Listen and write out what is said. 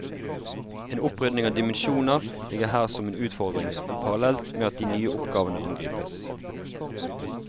En opprydning av dimensjoner ligger her som en utfordring, parallelt med at de nye oppgavene angripes.